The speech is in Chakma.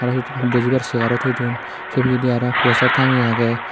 te hudukkun bujibar seharo toi don se bidire aro poster tangeye agey.